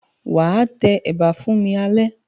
Wà á tẹ ẹ̀bà fún mi alẹ́.